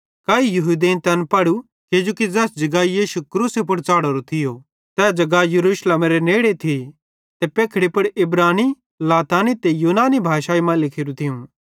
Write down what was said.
काई यहूदेईं तैन पढ़ू किजोकि ज़ैस जगाई यीशु क्रूसे पुड़ च़ढ़ोरो थियो ते जगा यरूशलेम नगरेरे नेड़े थी ते पेखड़ी पुड़ इब्रानी लातीनी ते यूनानी भाषाई मां लिखोरू थियूं